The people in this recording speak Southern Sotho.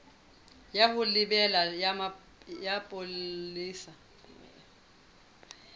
ya ho lebela ya bopolesa